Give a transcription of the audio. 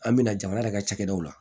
An bɛ na jamana yɛrɛ ka cakɛdaw la